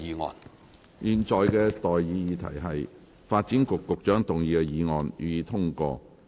我現在向各位提出的待議議題是：發展局局長動議的議案，予以通過。